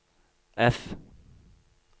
F